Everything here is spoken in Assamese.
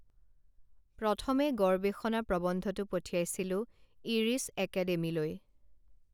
প্ৰথমে গৰৱেষণা প্ৰৱন্ধটো পঠিয়াইছিলো ইৰিশ একেডেমীলৈ